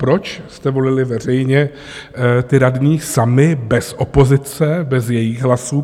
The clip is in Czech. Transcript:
Proč jste volili veřejně ty radní sami, bez opozice, bez jejích hlasů?